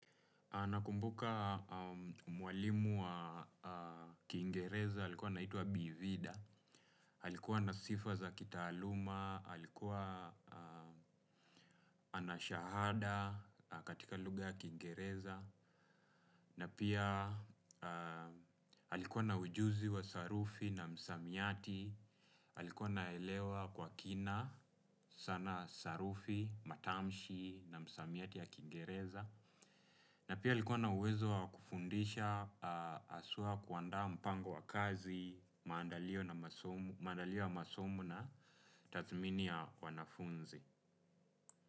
Nakumbuka mwalimu wa Kiingereza, alikuwa anaitwa Bi Vida, alikuwa na sifa za kitaaluma, alikuwa ana shahada katika lugha ya Kiingereza, na pia alikuwa na ujuzi wa sarufi na msamiati, alikuwa anaelewa kwa kina sana sarufi, matamshi na msamiati ya kiingereza. Na pia alikuwa na uwezo wa kufundisha haswa kuandaa mpango wa kazi, maandalio ya masomo na tathmini ya wanafunzi.